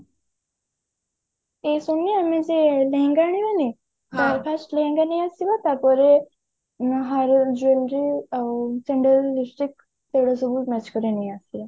ଏ ସବୁ ମୁଁ ସେ ଲେହେଙ୍ଗା ଆଣିବାନି first ଲେହେଙ୍ଗା ନେଇ ଆସିବା ତାପରେ ମୁଁ jewelry ଆଉ sandal lipstick ସେଗୁଡା ସବୁ match କରି ନେଇ ଆସିବା